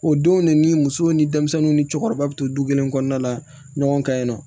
O denw de ni musow ni denmisɛnninw ni cɛkɔrɔba be to du kelen kɔnɔna la ɲɔgɔn ka ɲi nɔ